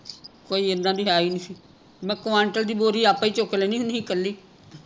ਕੋਈ ਇੱਦਾ ਦੀ ਹੈ ਹੀ ਨਹੀਂ ਸੀ ਮੈਂ ਕੁਆਂਟਲ ਦੀ ਬੋਰੀ ਆਪੇ ਹੀ ਚੁੱਕ ਲੈਣੀ ਹੁਣੀ ਸੀ ਕੱਲੀ